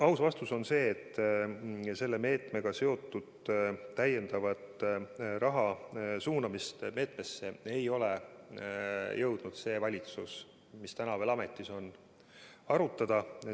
Aus vastus on see, et sellesse meetmesse lisaraha suunamist ei ole jõudnud see valitsus, mis praegu veel ametis on, arutada.